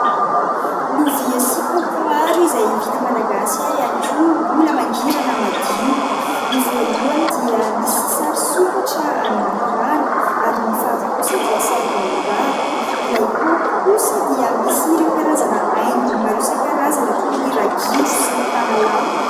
Lovia sy kaopy maro izay vita malagasy ary ihany koa mbola mangirana madio. Ny voalohany dia misy sary sokatra any anaty rano ary ny faharoa kosa dia sary baobaba. Ilay kaopy kosa dia misy ireo karazana haingony maro isan-karazany toy ny ragidro sy ny tanalahy.